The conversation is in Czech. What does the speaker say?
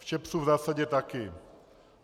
V ČEPS v zásadě taky.